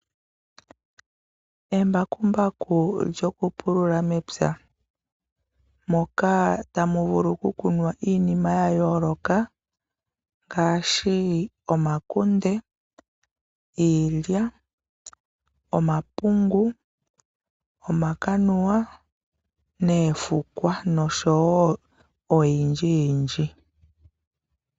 Embakumbaku lyokupulula mepya moka tamu vulu okukunwa iinima ya yooloka ngaashi omakunde, iilya, omapungu, omakanuwa, oofukwa noshowo oyindji yindji.